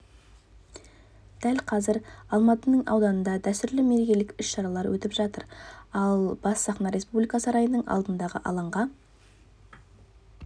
дәл қазір алматының ауданында дәстүрлі мерекелік іс-шаралар өтіп жатыр ал бас сахна республика сарайының алдындағы алаңға